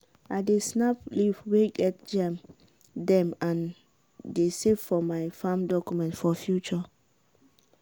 i dey snap leaf way get germ dem and dey save for my farm document for future.